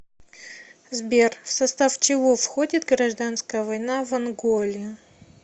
сбер в состав чего входит гражданская война в анголе